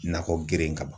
Nakɔ geren ka ban